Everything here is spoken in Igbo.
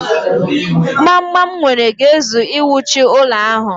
Gbamgbam m nwere ga-ezu iwuchi ụlọ ahụ.